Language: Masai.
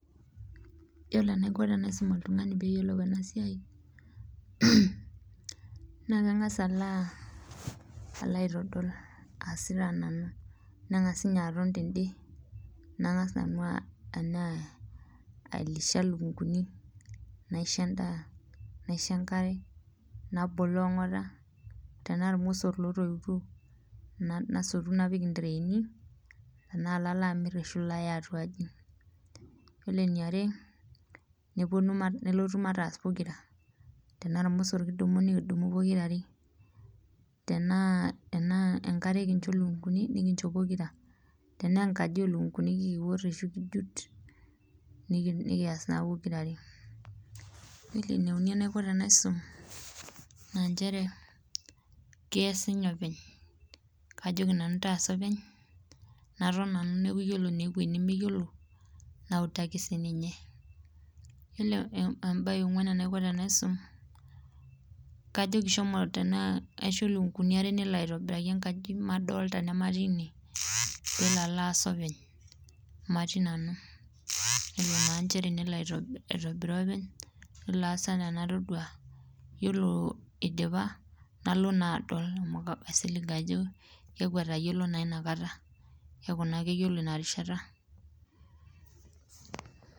Yiolo enaiko tenisum oltungani pee eyiolou ena siai naa kangas alo aitodol aasita nanu ,nenga ninye aton tende nangas nanu Alisha lukunkuni naisho endaa, naisho enkare naboloo ongota tenaa iromosor lotoituo nasotu naopik ntraani tena lalo amir ashua alo atuaji ,yiolo eniare nelotu mataas pokira ,tenaa iromosor kidumu nikidumu pokira ,tena enkare kincho nikincho pokirare ,tena enkaji oolunkunkuni kiwor ashu kijut nikijut pokirare ,yiolo eneuni enaiko tenaisum naa nchere kees ninye openy ,kajoki nanu taasa openy naton nanu neeku naa ore eweji nemeyiolo nautaki siininye, yiolo embae engwan enaiko tanisum, kaisho lukunkuni meshomo airobiraki enkaji madolita nematii ine ,pee elo alo aas openy matii nanu nelo aitobiraa openy nelo aas enaa enatodua ,yiolo eidipa nalo naa adol amu yiolo inakata kaisilig ajo etayiolo inakata keeku etayiolo ina rishata .